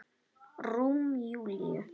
Rúm Júlíu.